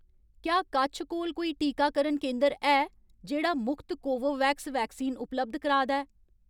क्या कच्छ कोल कोई टीकाकरण केंदर है जेह्‌ड़ा मुख्त कोवोवैक्स वैक्सीन उपलब्ध कराऽ दा ऐ?